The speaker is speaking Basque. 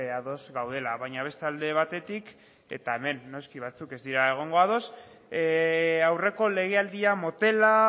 ados gaudela baina beste alde batetik eta hemen noski batzuk ez dira egongo ados aurreko legealdia motela